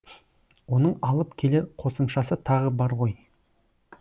оның алып келер қосымшасы тағы бар ғой